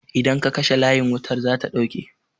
Idan ka kashe layin wutar zata ɗauke